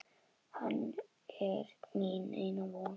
Hann er mín eina von.